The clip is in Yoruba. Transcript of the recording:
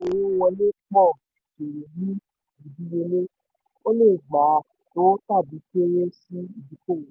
òwò àti owó wọlé pọ̀ kéré ní ìdíyelé; o lè gbà to tàbí kéré sí ìdókòwò.